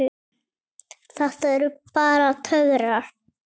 Þetta eru bara töfrar.